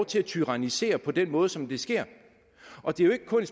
til at tyrannisere på den måde som det sker og det er jo ikke kun